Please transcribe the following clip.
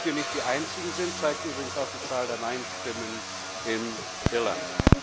Dass wir nicht die Einzigen sind, zeigt übrigens auch die Zahl der Neinstimmen in Irland.